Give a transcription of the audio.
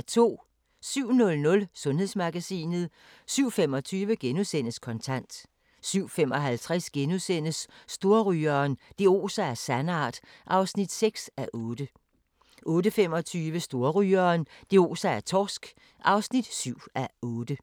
07:00: Sundhedsmagasinet 07:25: Kontant * 07:55: Storrygeren – det oser af sandart (6:8)* 08:25: Storrygeren – det oser af torsk (7:8)